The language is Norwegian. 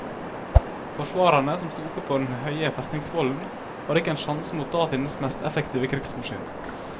Forsvarerne som sto oppe på den høye festningsvollen hadde ikke en sjanse mot datidens mest effektive krigsmaskin.